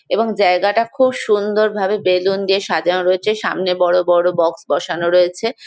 এবং জায়গাটা খুব সুন্দর ভাবে বেলুন দিয়ে সাজানো রয়েছে। সামনে বড় বড় বক্স বসানো রয়েছে।